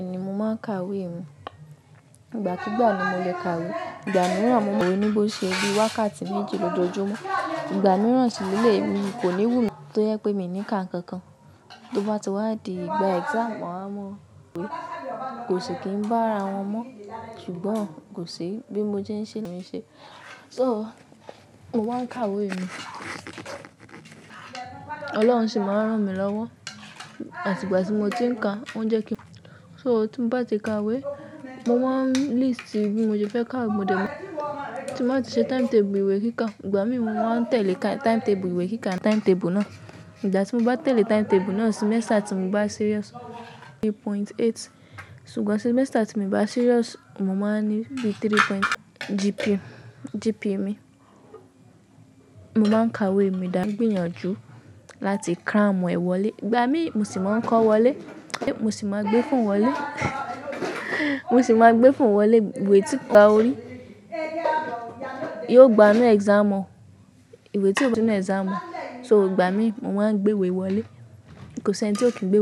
Mo máa ń ka ìwé mi. Ìgbà kigbà ni mo lè ka ìwé. Ìgbà mìíràn, mo mọ̀ ọ́n ní bó ṣe bí wákàtí méjì ló jojúmọ́. Ìgbà mìíràn sì ní eléi mi kò ní wù mí tó yẹ pé mi ní ká nǹkan kan. Tó bá ti wá di ìgbà exam, à mo ìwé kò sì kí ń bá ara wọn mọ́ ṣùgbọ́n kò ṣe bí mo jẹ́ ń ṣe lónì ṣe. So, mo máa ń ka ìwé mi, Ọlọ́run sì máa ń rán mi lọ́wọ́. Àtìgbà tí mo ti ń ka, ó ń jẹ́ kí. So, tí mo bá ti ka ìwé, mo máa ń list bí mo se fẹ́ ká. Mo de máa tún ṣe timetable ìwé kíkà. Ìgbà mí, mo máa tẹ̀lé timetable ìwé kíkà timetable náà. Ìgbá tí mo bá tẹ̀lé timetable náà, semester tí mo bá serious three point eight. Ṣùgbọ́n semester tí mo bá serious, mo máa ní bí three point GP, GP mi. Mo máa ń ka ìwé mi dára, gbìyànjú láti cram èwọ̀lé. Ìgbà mí, mo sì máa ń kọ́ wọlé, mo sì máa gbé fún wọlé. Mo sì máa gbé fún wọlé ìwé tí kò bá orí. Yóò gba mí exam halll. Ìwé tí òfin náà exam òun. So ìgbà mí, mo máa ń gbé ìwé wọlé. Kò sí ẹniti ó kí nǹgbe.